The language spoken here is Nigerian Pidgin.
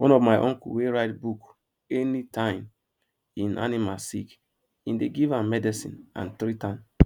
one of my uncle dey write book any time im animal sick im dey give am medicine and treat am